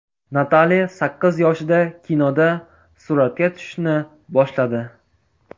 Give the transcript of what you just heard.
Natali sakkiz yoshida kinoda suratga tushishni boshladi.